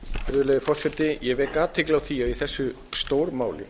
virðulegi forseti ég vek athygli á því að í þessu stórmáli